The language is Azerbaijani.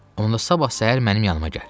Onda sabah səhər mənim yanıma gəl.